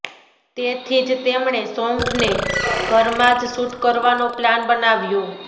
તેથી જ તેમણે સોન્ગને ઘરમાં જ શૂટ કરવાનો પ્લાન બનાવ્યો